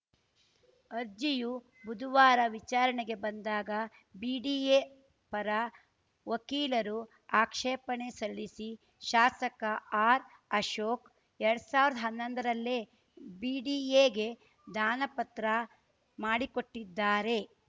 ಅರ್ಜಿಯು ಬುದುವಾರ ವಿಚಾರಣೆಗೆ ಬಂದಾಗ ಬಿಡಿಎ ಪರ ವಕೀಲರು ಆಕ್ಷೇಪಣೆ ಸಲ್ಲಿಸಿ ಶಾಸಕ ಆರ್‌ಅಶೋಕ್‌ ಎರಡ್ ಸಾವಿರ್ದ್ ಹನ್ನೊಂದರಲ್ಲೇ ಬಿಡಿಎಗೆ ದಾನಪತ್ರ ಮಾಡಿಕೊಟ್ಟಿದ್ದಾರೆ